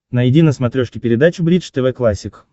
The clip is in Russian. найди на смотрешке передачу бридж тв классик